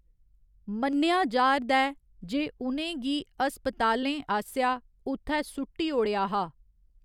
मन्नेआ जा'रदा ऐ जे उ'नें गी अस्पतालें आसेआ उत्थै सुट्टी ओड़ेआ हा।